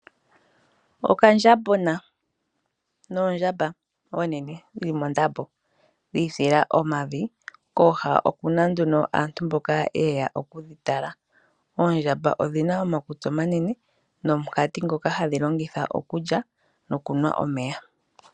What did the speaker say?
Okandjambona noondjamba oonene dhi li mondambo dhiifila omavi, kooha oku na aantu mboka ye ya okudhi tala. Oondjamba odhi na omakutsi omanene nomukati ngoka hadhi longitha okulya nokunwa omeya.